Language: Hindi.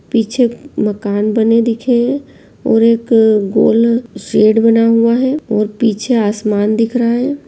पीछे मकान बने दिखे हैं और एक गोल शेड बना हुआ है और पीछे आसमान दिख रहा है।